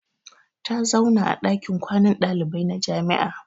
Ta zauna a dakin kwanan dalibai na jami'a.